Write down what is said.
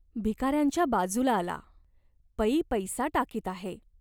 भिकाऱ्यांच्या बाजूला आला. पै पैसा टाकीत आहे.